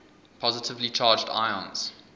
positively charged ions